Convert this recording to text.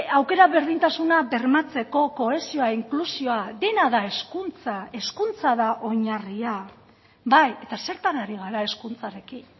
aukera berdintasuna bermatzeko kohesioa inklusioa dena da hezkuntza hezkuntza da oinarria bai eta zertan ari gara hezkuntzarekin